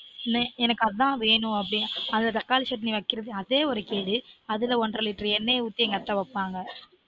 எனக்கு அதான் வேணும் அப்பிடினா அந்த தக்காளி chutney வைக்கிறதே ஒரு கேடு அதுல ஒன்ற litre எண்ணெய் ஊத்தி எங்க அத்தை வைப்பாங்க